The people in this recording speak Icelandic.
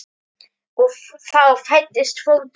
Og þá fæddist fótur.